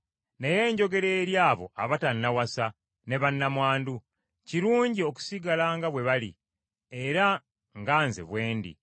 Naye njogera eri abo abatannawasa ne bannamwandu; kirungi okusigala nga bwe bali, era nga nze bwe ndi.